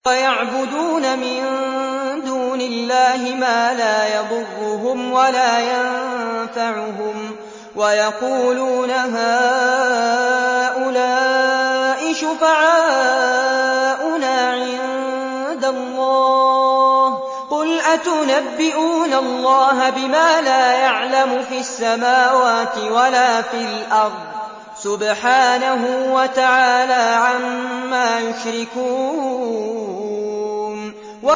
وَيَعْبُدُونَ مِن دُونِ اللَّهِ مَا لَا يَضُرُّهُمْ وَلَا يَنفَعُهُمْ وَيَقُولُونَ هَٰؤُلَاءِ شُفَعَاؤُنَا عِندَ اللَّهِ ۚ قُلْ أَتُنَبِّئُونَ اللَّهَ بِمَا لَا يَعْلَمُ فِي السَّمَاوَاتِ وَلَا فِي الْأَرْضِ ۚ سُبْحَانَهُ وَتَعَالَىٰ عَمَّا يُشْرِكُونَ